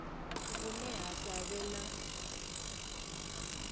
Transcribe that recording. vhune ha sa vhe na